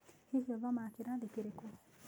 Hihi ũthomaga kĩrathi kĩrĩkũ?